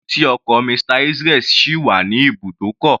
Kílódé tí ọkọ̀ Mr. Israel sì wà ní ibùdókọ̀?